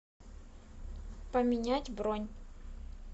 поменять бронь